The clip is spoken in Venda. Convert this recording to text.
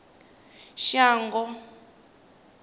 shango